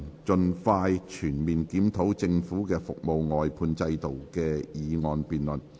"盡快全面檢討政府的服務外判制度"的議案辯論。